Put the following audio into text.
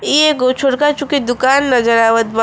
ई एगो छोटका चुकी दुकान नजर आवत बा।